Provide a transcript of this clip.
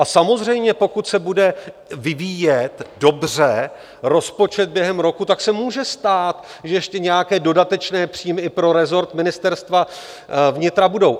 A samozřejmě pokud se bude vyvíjet dobře rozpočet během roku, tak se může stát, že ještě nějaké dodatečné příjmy i pro resort Ministerstva vnitra budou.